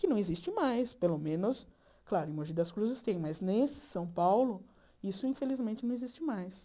Que não existe mais, pelo menos... Claro, em Mogi das Cruzes tem, mas nesse São Paulo, isso, infelizmente, não existe mais.